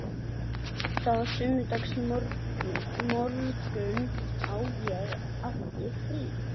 En það var sunnudagsmorgunn og ég átti frí.